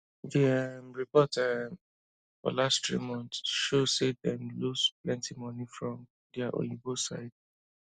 d um report um for last three months show say dem lose plenty money from dia oyinbo side